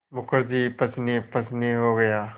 मुखर्जी पसीनेपसीने हो गया